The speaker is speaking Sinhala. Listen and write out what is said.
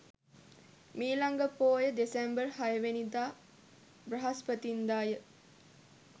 මීළඟ පෝය දෙසැම්බර් 06 වැනි දා බ්‍රහස්පතින්දා ය.